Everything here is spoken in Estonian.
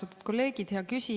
Austatud kolleegid!